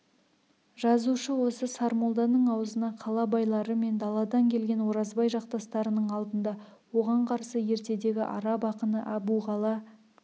жазушы осы сармолданың аузына қала байлары мен даладан келген оразбай жақтастарының алдында оған қарсы ертедегі араб ақыны әбуғала